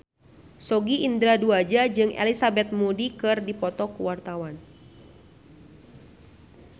Sogi Indra Duaja jeung Elizabeth Moody keur dipoto ku wartawan